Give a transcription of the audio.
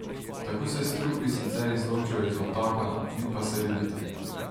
Tako se strupi sicer izločijo iz obtoka, vi pa se redite.